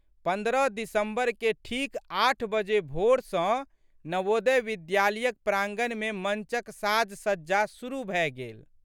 .पन्द्रह दिसम्बर के ठीक आठ बजे भोर सँ नवोदय विद्यालयक प्रांगणमे मंचक साजसज्जा शुरु भए गेल।